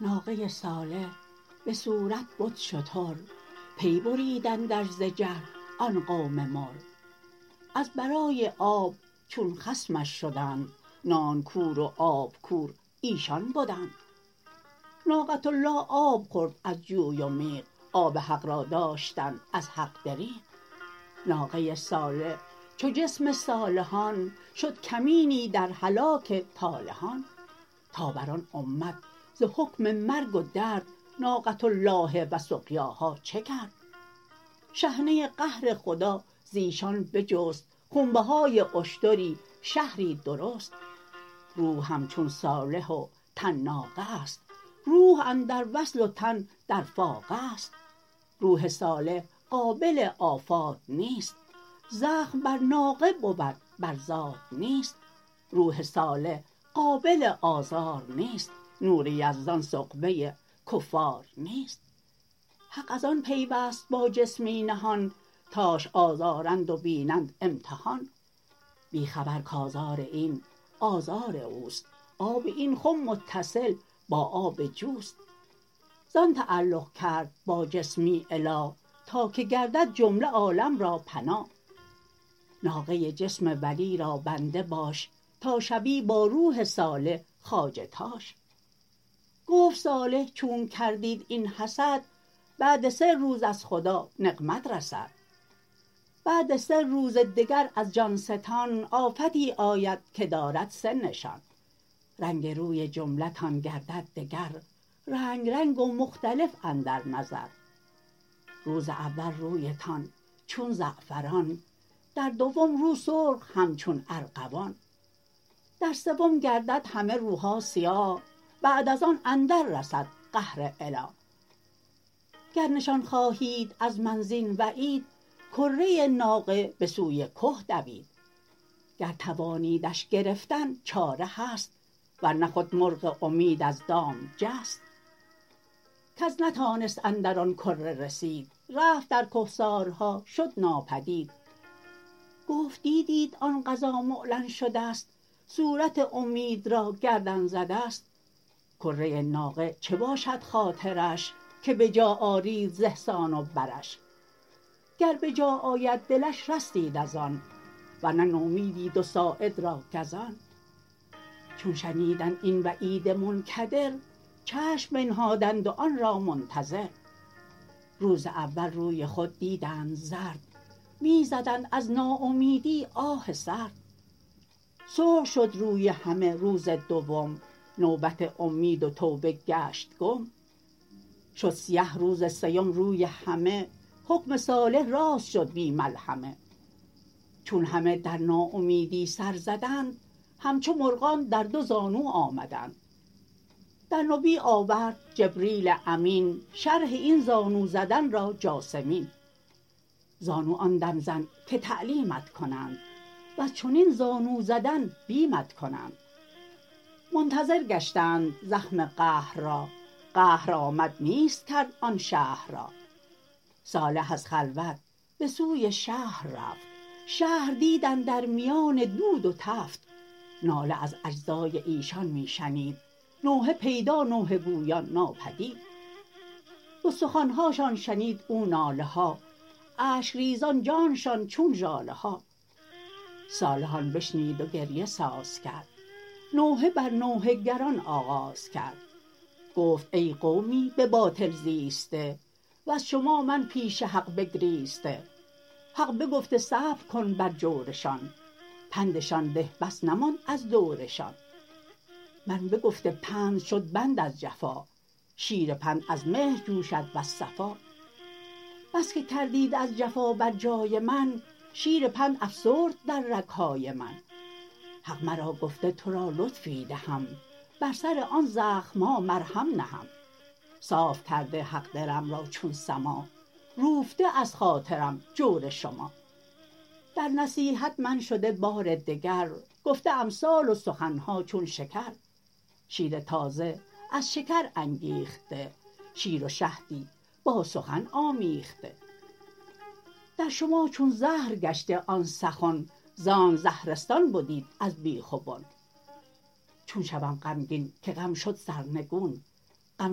ناقه صالح بصورت بد شتر پی بریدندش ز جهل آن قوم مر از برای آب چون خصمش شدند نان کور و آب کور ایشان بدند ناقة الله آب خورد از جوی و میغ آب حق را داشتند از حق دریغ ناقه صالح چو جسم صالحان شد کمینی در هلاک طالحان تا بر آن امت ز حکم مرگ و درد ناقةالله و سقیاها چه کرد شحنه قهر خدا زیشان بجست خونبهای اشتری شهری درست روح همچون صالح و تن ناقه است روح اندر وصل و تن در فاقه است روح صالح قابل آفات نیست زخم بر ناقه بود بر ذات نیست روح صالح قابل آزار نیست نور یزدان سغبه کفار نیست حق از آن پیوست با جسمی نهان تاش آزارند و بینند امتحان بی خبر کآزار این آزار اوست آب این خم متصل با آب جوست زان تعلق کرد با جسمی اله تا که گردد جمله عالم را پناه ناقه جسم ولی را بنده باش تا شوی با روح صالح خواجه تاش گفت صالح چونک کردید این حسد بعد سه روز از خدا نقمت رسد بعد سه روز دگر از جانستان آفتی آید که دارد سه نشان رنگ روی جمله تان گردد دگر رنگ رنگ مختلف اندر نظر روز اول رویتان چون زعفران در دوم رو سرخ همچون ارغوان در سوم گردد همه روها سیاه بعد از آن اندر رسد قهر اله گر نشان خواهید از من زین وعید کره ناقه به سوی که دوید گر توانیدش گرفتن چاره هست ورنه خود مرغ امید از دام جست کس نتانست اندر آن کره رسید رفت در کهسارها شد ناپدید گفت دیدیت آن قضا معلن شدست صورت اومید را گردن زدست کره ناقه چه باشد خاطرش که بجا آرید ز احسان و برش گر بجا آید دلش رستید از آن ورنه نومیدیت و ساعد را گزان چون شنیدند این وعید منکدر چشم بنهادند و آن را منتظر روز اول روی خود دیدند زرد می زدند از ناامیدی آه سرد سرخ شد روی همه روز دوم نوبت اومید و توبه گشت گم شد سیه روز سیم روی همه حکم صالح راست شد بی ملحمه چون همه در ناامیدی سر زدند همچو مرغان در دو زانو آمدند در نبی آورد جبریل امین شرح این زانو زدن را جاثمین زانو آن دم زن که تعلیمت کنند وز چنین زانو زدن بیمت کنند منتظر گشتند زخم قهر را قهر آمد نیست کرد آن شهر را صالح از خلوت بسوی شهر رفت شهر دید اندر میان دود و نفت ناله از اجزای ایشان می شنید نوحه پیدا نوحه گویان ناپدید ز استخوانهاشان شنید او ناله ها اشک ریزان جانشان چون ژاله ها صالح آن بشنید و گریه ساز کرد نوحه بر نوحه گران آغاز کرد گفت ای قومی به باطل زیسته وز شما من پیش حق بگریسته حق بگفته صبر کن بر جورشان پندشان ده بس نماند از دورشان من بگفته پند شد بند از جفا شیر پند از مهر جوشد وز صفا بس که کردید از جفا بر جای من شیر پند افسرد در رگهای من حق مرا گفته ترا لطفی دهم بر سر آن زخمها مرهم نهم صاف کرده حق دلم را چون سما روفته از خاطرم جور شما در نصیحت من شده بار دگر گفته امثال و سخنها چون شکر شیر تازه از شکر انگیخته شیر و شهدی با سخن آمیخته در شما چون زهر گشته آن سخن زانک زهرستان بدیت از بیخ و بن چون شوم غمگین که غم شد سرنگون غم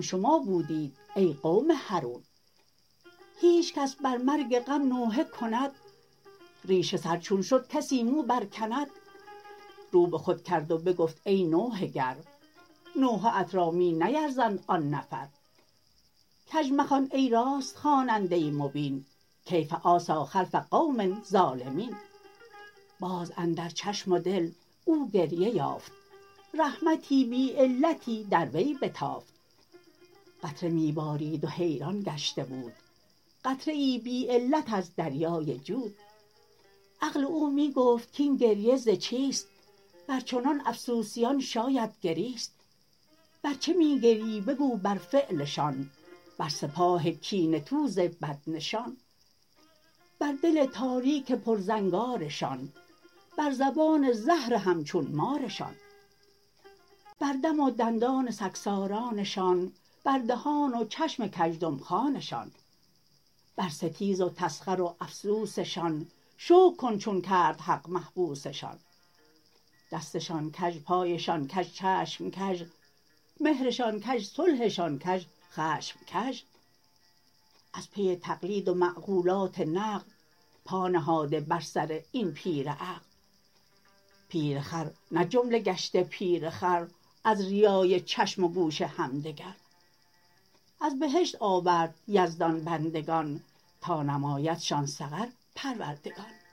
شما بودیت ای قوم حرون هیچ کس بر مرگ غم نوحه کند ریش سر چون شد کسی مو بر کند رو بخود کرد و بگفت ای نوحه گر نوحه ات را می نیرزند آن نفر کژ مخوان ای راست خواننده مبین کیف آسی خلف قوم ظالمین باز اندر چشم و دل او گریه یافت رحمتی بی علتی در وی بتافت قطره می بارید و حیران گشته بود قطره ای بی علت از دریای جود عقل او می گفت کین گریه ز چیست بر چنان افسوسیان شاید گریست بر چه می گریی بگو بر فعلشان بر سپاه کینه توز بد نشان بر دل تاریک پر زنگارشان بر زبان زهر همچون مارشان بر دم و دندان سگسارانه شان بر دهان و چشم کزدم خانه شان بر ستیز و تسخر و افسوسشان شکر کن چون کرد حق محبوسشان دستشان کژ پایشان کژ چشم کژ مهرشان کژ صلحشان کژ خشم کژ از پی تقلید و معقولات نقل پا نهاده بر سر این پیر عقل پیرخر نه جمله گشته پیر خر از ریای چشم و گوش همدگر از بهشت آورد یزدان بندگان تا نمایدشان سقر پروردگان